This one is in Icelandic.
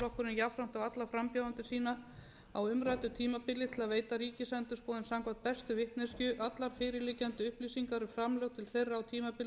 jafnframt á alla frambjóðendur sína á umræddu tímabili til að veita ríkisendurskoðun samkvæmt bestu vitneskju alla fyrirliggjandi upplýsingar um framlög til þeirra á tímabilinu frá